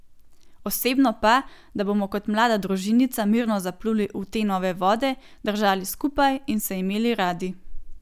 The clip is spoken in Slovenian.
Osebno pa, da bomo kot mlada družinica mirno zapluli v te nove vode, držali skupaj in se imeli radi.